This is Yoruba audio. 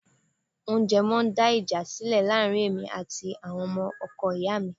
Oúnjẹ máa ń dá ìjà sílẹ̀ láàrin èmi àti àwọn ọmọ ọkọ ìyá mi